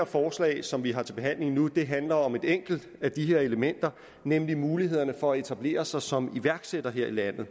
forslag som vi har til behandling nu handler om et enkelt af de her elementer nemlig mulighederne for at etablere sig som iværksætter her i landet